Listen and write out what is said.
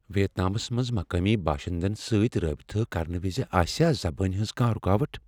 ویتنامس منٛز مقٲمی باشندن سۭتۍ رٲبطہٕ کرنہٕ وِزِ آسیا زبانہِ ہٕنٛز کانٛہہ رُکاوٹھ ؟